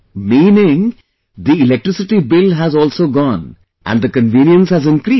Meaning, the electricity bill has also gone and the convenience has increased